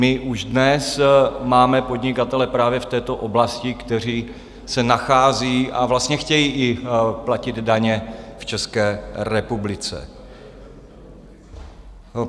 My už dnes máme podnikatele právě v této oblasti, kteří se nacházejí, a vlastně chtějí i platit daně v České republice.